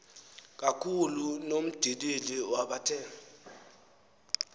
kakhulu nomndilili wabathe